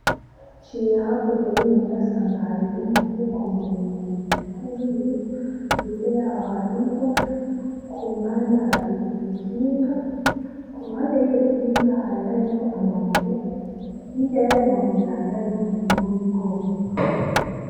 Nciye hakurya y' muhira nsanga hariho y'umufuko muremure utekeyemwo ibintu, hirya yaho hariho umugufi, ku mpande hariho ikinga, ku ruhande rw'iyo kinga hari hariho amabuye, hirya y'ayo mabuye hari hariho umurima w'ibigori.